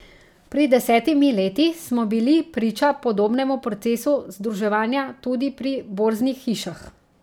Pred desetimi leti smo bili priča podobnemu procesu združevanja tudi pri borznih hišah.